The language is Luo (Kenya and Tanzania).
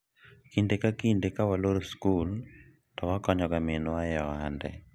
kinde ka kinde ka waloro sikul to wakonyo ga minwa e ohande